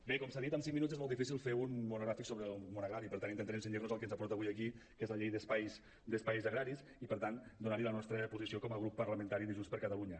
bé com s’ha dit en cinc minuts és molt difícil fer un monogràfic sobre el món agrari per tant intentarem cenyir nos al que ens ha portat avui aquí que és la llei d’espais agraris i per tant donar hi la nostra posició com a grup parlamentari de junts per catalunya